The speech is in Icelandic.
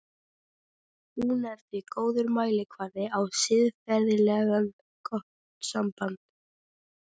Hún er því góður mælikvarði á siðferðilega gott samband.